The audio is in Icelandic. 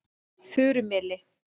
Furumeli